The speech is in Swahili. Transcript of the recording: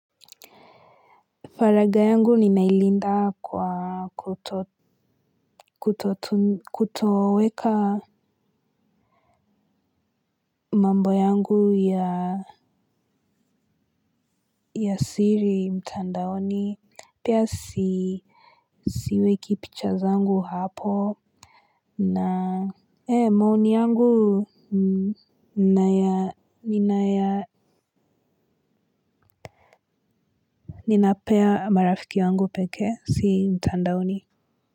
Faraga yangu ni nailinda kwa kutoweka. Mambo yangu ya siri mtandaoni. Pia siweki picha zangu hapo ee maoni yangu. Ninapea marafiki wangu pekee si mtandaoni.